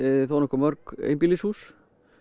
þónokkuð mörg einbýlishús